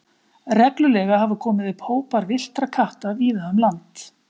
Reglulega hafa komið upp hópar villtra katta víða um land.